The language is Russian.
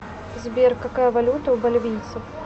сбер какая валюта у боливийцев